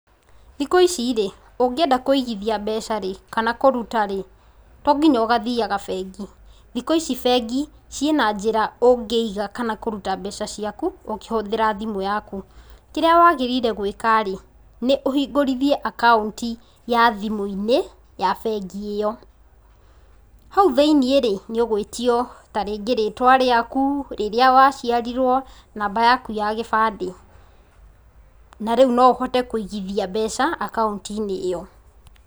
Thikũ ici rĩ, ũngĩenda kũigithia mbeca kana kũruta rĩ, to nginya ũgathiaga bengi. Thikũ ici bengi, ciĩna njĩra ũngĩiga kana kũruta mbeca ciaku, ũkĩhũthĩra thimũ yaku. Kĩrĩa waagĩrĩire gũĩka rĩ, nĩ ũhingũrithie akaũnti ta thimũ-inĩ, ya bengi ĩyo. Hau thĩiniĩ rĩ, nĩ ũgwĩtio ta rĩngĩ rĩtwa rĩakũ, rĩrĩa wa ciarirwo, namba yaku ya gĩbandĩ. Na rĩu no ũhote kũigithia mbeca akaunti-inĩ ĩyo.